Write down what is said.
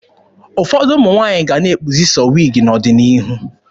Ụfọdụ ụmụ nwaanyị ga-ana ekpuzi sọọ wiigi n'ọdịnihu.